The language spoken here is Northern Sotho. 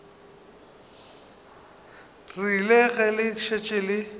rile ge le šetše le